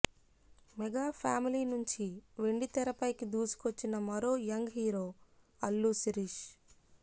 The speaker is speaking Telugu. మెగా ఫ్యామిలీ నుంచి వెండితెరపైకి దూసుకొచ్చిన మరో యంగ్ హీరో అల్లు శిరీష్